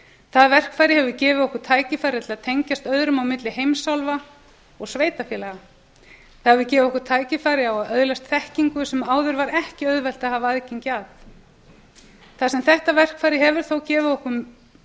það verkfæri hefur gefið okkur tækifæri til að tengjast öðrum á milli heimsálfa og sveitarfélaga það hefur gefið okkur tækifæri á að öðlast þekkingu sem áður var ekki auðvelt að hafa aðgengi að það sem þetta verkfæri hefur þó gefið okkur